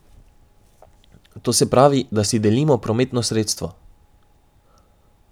To se pravi, da si delimo prometno sredstvo.